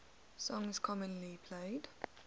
songs commonly played